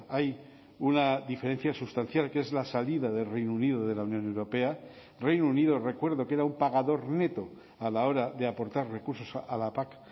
hay una diferencia sustancial que es la salida de reino unido de la unión europea reino unido recuerdo que era un pagador neto a la hora de aportar recursos a la pac